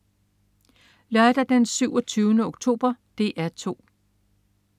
Lørdag den 27. oktober - DR 2: